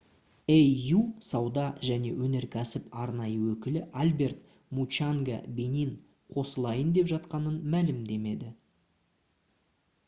au сауда және өнеркәсіп арнайы өкілі альберт мучанга бенин қосылайын деп жатқанын мәлімдеді